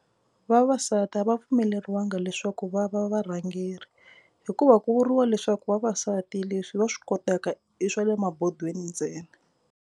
Vavasati a va pfumeleriwanga leswaku va va varhangeri hikuva ku vuriwa leswaku vavasati leswi va swi kotaka i swa le mabodweni ntsena.